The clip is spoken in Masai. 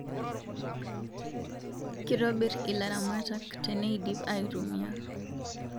Kitobir ilaramatak......teneidip aitumia